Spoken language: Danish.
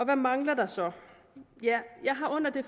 hvad mangler der så ja jeg har under det